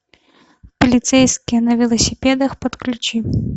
полицейские на велосипедах подключи